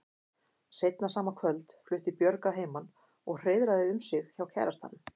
Seinna sama kvöld flutti Björg að heiman og hreiðraði um sig hjá kærastanum.